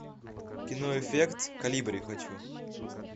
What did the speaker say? кино эффект колибри хочу